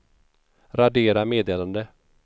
radera meddelande